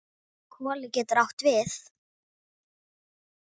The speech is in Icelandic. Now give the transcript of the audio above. Koli getur átt við